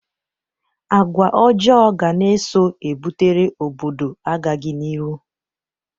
Agwa ọjọọ ga na-eso ebutere obodo agaghị n'iru.